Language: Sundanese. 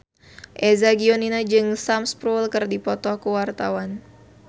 Eza Gionino jeung Sam Spruell keur dipoto ku wartawan